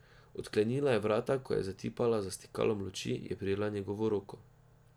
Odklenila je vrata in ko je zatipala za stikalom luči, je prijela njegovo roko.